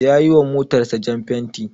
Ya yiwa motarsa jan fenti.